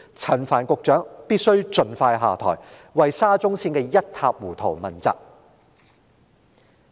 陳帆必須盡快下台，為沙中綫的一塌糊塗問責。